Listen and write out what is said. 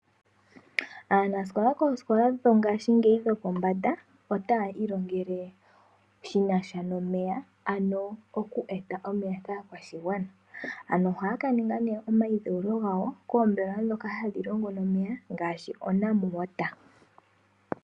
Aanasikola koosikola dho dhopombanda otaya ilongele shinasha nomeya. Ano oku eta omeya kaakwashigwana . Ano ohaya kaninga nee omayidhewulo gawo koombelewa ndhoka hadhi longo nomeya ngaashi oNamwater.